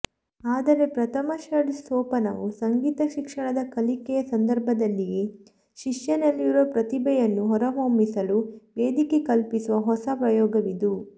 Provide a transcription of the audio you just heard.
ಆದರೆ ಪ್ರಥಮ ಷಡ್ಜ ಸೋಪಾನವು ಸಂಗೀತ ಶಿಕ್ಷಣದ ಕಲಿಕೆಯ ಸಂದರ್ಭದಲ್ಲಿಯೇ ಶಿಷ್ಯನಲ್ಲಿರುವ ಪ್ರತಿಭೆಯನ್ನು ಹೊರಹೊಮ್ಮಿಸಲು ವೇದಿಕೆ ಕಲ್ಪಿಸುವ ಹೊಸ ಪ್ರಯೋಗವಿದು